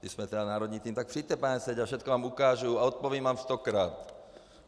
Když jsme tedy národní tým, tak přijďte, pane Seďo, všechno vám ukážu a odpovím vám stokrát.